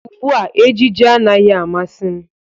Ugbua ejiji anaghị amasị m